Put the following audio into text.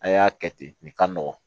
A y'a kɛ ten nin ka nɔgɔn